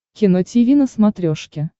кино тиви на смотрешке